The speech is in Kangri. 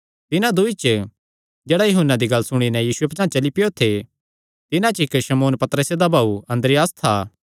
तिन्हां दूँई च जेह्ड़ा यूहन्ना दी गल्ल सुणी नैं यीशुये पचांह़ चली पैयो थे तिन्हां च इक्क शमौन पतरसे दा भाऊ अन्द्रियास था